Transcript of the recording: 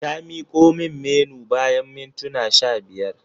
Ta miko min Menu bayan mintuna sha biyar.